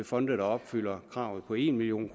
fonde der opfylder kravet på en million